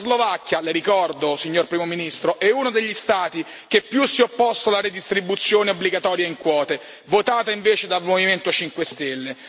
La Slovacchia, le ricordo, signor Primo ministro, è uno degli Stati che più si è opposto alla redistribuzione obbligatoria in quote, votata invece dal Movimento 5 stelle.